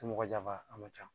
Ti mɔgɔ janfa a ma ca